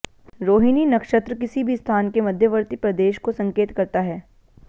रोहिणी नक्षत्र किसी भी स्थान के मध्यवर्ती प्रदेश को संकेत करता है